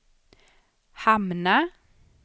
hamna